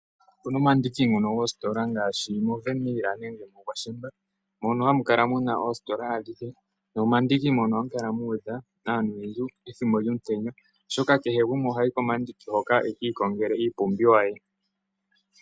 Opuna omandiki goostola ngaashi mo Wernhil nenge mu Gwashamba mono hamu kala muna oostola adhihe noma ndiki mono ohamu kala muudha aantu oyendji ethimbo djomu tenya, oshoka kehe gumwe ohayi komandiki hoka ekii kongele iipumbiwa ya.